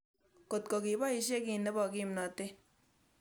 Kotko kipoishe kiy nepo kimnatet